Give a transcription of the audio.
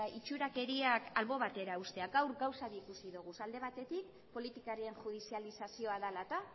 itxurakeriak albo batera uztea gaur gauza bi ikusi ditugu alde batetik politikarien judizializazioa dela eta